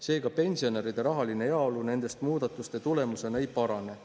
Seega pensionäride rahaline heaolu nendest muudatuste tulemusena ei parane.